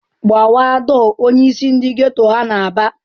"Gbawa dọọ!" Onyeisi ndị geto ahụ na-aba.